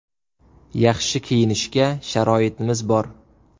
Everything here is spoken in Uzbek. Yaxshi kiyinishga sharoitimiz bor.